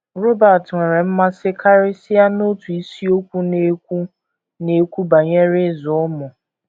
Robert nwere mmasị karịsịa n’otu isiokwu na - ekwu na - ekwu banyere ịzụ ụmụ.